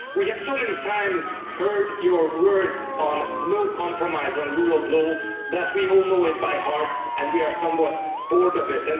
We have so many times heard your words on no compromise on rule of law that we all know it by heart and we are somewhat bored of it.